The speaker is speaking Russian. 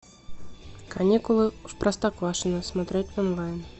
каникулы в простоквашино смотреть онлайн